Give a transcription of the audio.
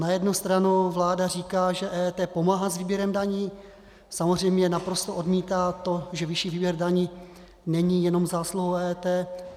Na jednu stranu vláda říká, že EET pomáhá s výběrem daní, samozřejmě naprosto odmítá to, že vyšší výběr daní není jenom zásluhou EET.